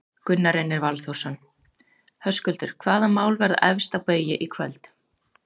Gunnar Reynir Valþórsson: Höskuldur, hvaða mál verða efst á baugi í kvöld?